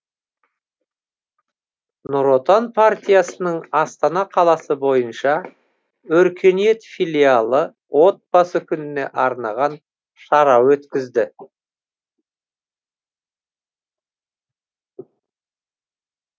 нұр отан партиясының астана қаласы бойынша өркениет филиалы отбасы күніне арнаған шара өткізді